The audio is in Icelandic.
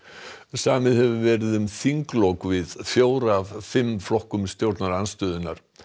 samið hefur verið um þinglok við fjóra af fimm flokkum stjórnarandstöðunnar